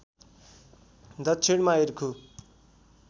दक्षिणमा इर्खु